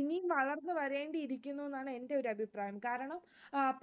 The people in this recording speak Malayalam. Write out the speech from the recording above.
ഇനി വളർന്നുവരേണ്ടിയിരിക്കുന്നു എന്നാണ് എന്റെ ഒരു അഭിപ്രായം കാരണം